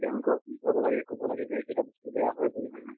আমি তেওঁলোকক বুজাব লাগে কব লাগে যে এইকেইটা বস্তু বেয়া হয় বুলি হয় নে নহয়